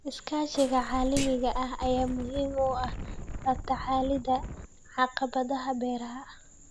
Iskaashiga caalamiga ah ayaa muhiim u ah la tacaalidda caqabadaha beeraha.